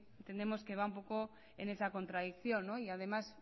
entendemos que va un poco en esa contradicción y además